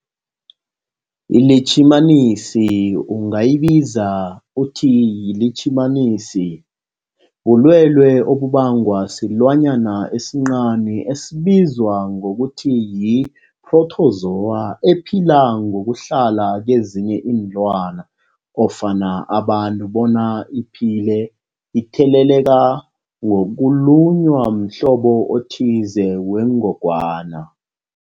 ILitjhimanisi ungayibiza uthiyilitjhimanisi, bulwelwe obubangwa silwanyana esincani esibizwa ngokuthiyi-phrotozowa ephila ngokuhlala kezinye iinlwana ofana abantu bona iphile itheleleka ngokulunywa mhlobo othize wengogwana.